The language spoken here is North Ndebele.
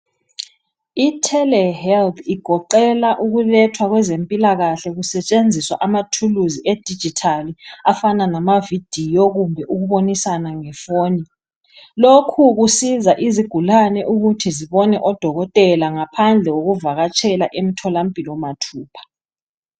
I telehealth igoqeka ukulethwa kwezempilakahle kusetshenziswa amathuluzi edigital afana lama video kumbe ukubonisana nge foni. Lokhu kusiza izigulane ukuthi zibone odokotela ngaphandle kokuvakatshela emtholampilo mathupha.